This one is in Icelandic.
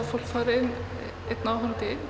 fólk fari inn einn áhorfandi